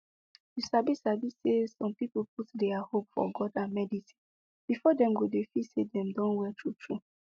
you sabi sabi say some people put dia hope for god and medicine before dem go dey feel say dem don well true true